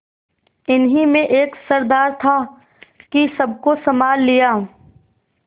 इन्हीं में एक सरदार था कि सबको सँभाल लिया